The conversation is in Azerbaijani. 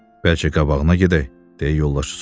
Bəlkə qabağına gedək, - deyə yoldaşı soruşdu.